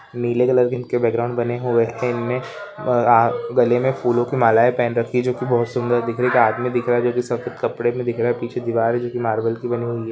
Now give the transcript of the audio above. नीले कलर के उनके बैकग्राउंड बने हुए हैं इनमें गले में फूलों की मालाए पहन रखी है जो की बहुत सुंदर दिख रही है एक आदमी दिख रहा है जो की सफेद कपड़े में दिख रहा है पीछे दीवार जो की मार्बल की बनी हुई है।